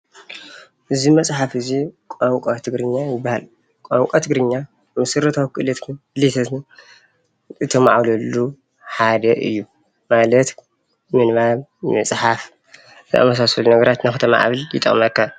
እዚ መፅሓፍ ቋንቋ ትግርኛ ይበሃል። ቋንቋ ትግርኛ መሠረታዊ ክእለታትን ድሌታትን እተማዕብለሉ ሓደ እዩ ማለት ምንባብ ምፅሓፍ ዝተመሳሰሉ ነገራት ክተማዕብለሉ ይጠቅመካ።